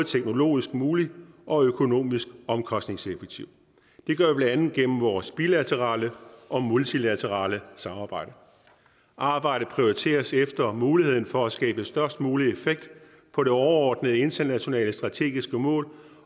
teknologisk mulig og økonomisk omkostningseffektiv det gør vi blandt andet gennem vores bilaterale og multilaterale samarbejder arbejdet prioriteres efter muligheden for at skabe størst mulig effekt på det overordnede internationale strategiske mål